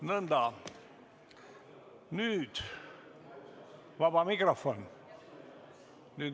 Nõnda, nüüd on vaba mikrofon.